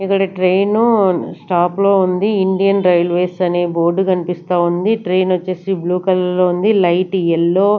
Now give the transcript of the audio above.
ఇక్కడ ట్రైను స్టాపులో ఉంది ఇండియన్ రైల్వేస్ అనే బోర్డ్ కనిపిస్తా ఉంది ట్రైన్ వొచ్చేసీ బ్లూ కలర్ లో ఉంది లైట్ ఎల్లో --